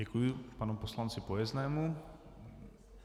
Děkuji panu poslanci Pojeznému.